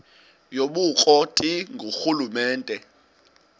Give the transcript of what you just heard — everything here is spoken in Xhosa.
yobukro ti ngurhulumente